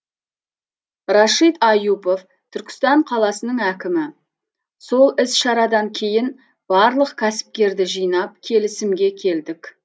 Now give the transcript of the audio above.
рашид аюпов түркістан қаласының әкімі сол іс шарадан кейін барлық кәсіпкерді жинап келісімге келдік